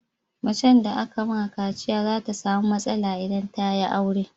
Mace da aka ma kaciya za ta samu matsala in ta yi aure